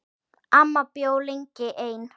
Amma bjó lengi ein.